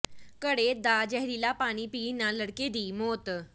ਘੜੇ ਦਾ ਜ਼ਹਿਰੀਲਾ ਪਾਣੀ ਪੀਣ ਨਾਲ ਲੜਕੇ ਦੀ ਮੌਤ